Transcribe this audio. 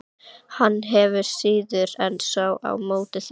Hann hefur síður en svo á móti því.